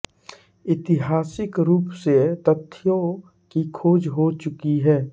ऐतिहासिक रूप से तथ्यों की खोज हो चुकी है